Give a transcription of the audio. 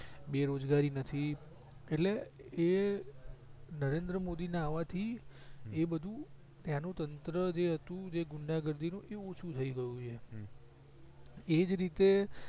બેરોજગારી હતી એટલે એ નરેન્દ્ર મોદી ના આવાથી એ બધું ત્યાંનું તંત્ર જે હતું ગુંડાગર્દી નું ઓછું થઈ ગયું છે એજ રીતે